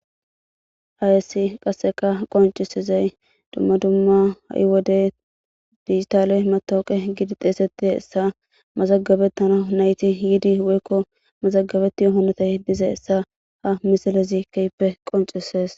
ayessi qasseka qoncisizay dumma dumma ha7i wode digitale matooqe gidi xeeseti essa mazagabettana nayti yidi woykko mazagabetti yohonotay diza essa ha misilezi keyppe qoncisees